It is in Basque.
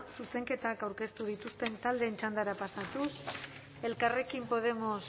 zuzenketak aurkeztu dituzten taldeen txandara pasatuz elkarrekin podemos